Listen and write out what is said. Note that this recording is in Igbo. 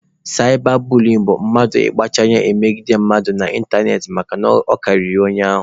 Saịba buliyin bụ mmadụ ịkpacha anya na-emegide mmadụ n'ịntanetị makana ọ karịrị onye ahụ